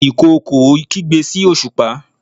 ìkookò kigbe sí osupa